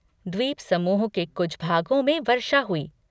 द्वीपसमूह के कुछ भागों में वर्षा हुई।